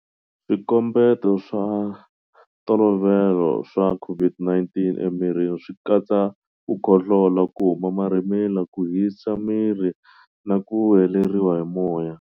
Swikombeto swa ntolovelo swa COVID-19 emirini swi katsa ku khohlola, ku huma marhimila, ku hisa miri na ku heleriwa hi moya.